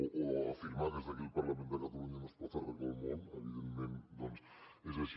o afirmava que des d’aquí des del parlament de catalunya no es pot arreglar el món evidentment doncs és així